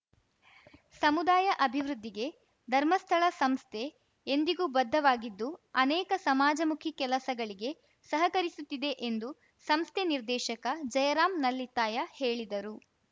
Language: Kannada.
ಸಮುದಾಯ ಅಭಿವೃದ್ಧಿಗೆ ಧರ್ಮಸ್ಥಳ ಸಂಸ್ಥೆ ಎಂದಿಗೂ ಬದ್ಧವಾಗಿದ್ದು ಅನೇಕ ಸಮಾಜಮುಖಿ ಕೆಲಸಗಳಿಗೆ ಸಹಕರಿಸುತ್ತಿದೆ ಎಂದು ಸಂಸ್ಥೆ ನಿರ್ದೆಶಕ ಜಯರಾಮ್‌ ನಲ್ಲಿತ್ತಾಯ ಹೇಳಿದರು